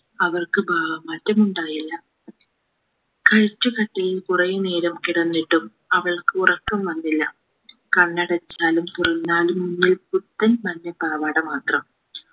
അവർക്ക് ഭാവമാറ്റം ഉണ്ടായില്ല കട്ടിലിൽ കുറെ നേരം കിടന്നിട്ടും അവൾക്ക് ഉറക്കം വന്നില്ല കണ്ണടച്ചാലും തുറന്നാലും മുന്നിൽ പുത്തൻ മഞ്ഞ പാവാട മാത്രം